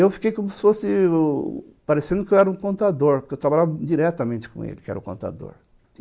Eu fiquei como se fosse, parecendo que eu era um contador, porque eu trabalhava diretamente com ele, que era o contador.